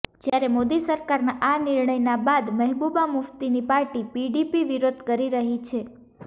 ત્યારે મોદી સરકારના આ નિર્ણયના બાદ મહેબૂબા મુફ્તીની પાર્ટી પીડીપી વિરોધ કરી રહી છે